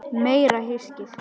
Meira hyskið!